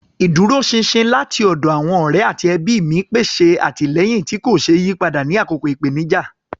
Ìdúróṣinṣin láti ọ̀dọ̀ àwọn ọ̀rẹ́ àti ẹbí mi pèsè àtìlẹ́yìn tí kò ṣeé yí padà ní àkókò ìpèníjà.